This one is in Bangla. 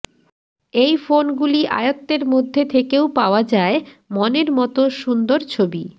এই ফোনগুলি আয়ত্ত্বের মধ্যে থেকেও পাওয়া যায় মনের মতো সুন্দ ছবি